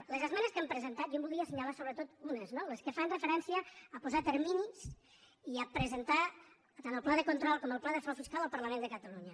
de les esmenes que hem presentat jo en voldria as·senyalar sobretot unes no les que fan referència a posar terminis i a presentar tant el pla de control com el pla de frau fiscal al parlament de catalunya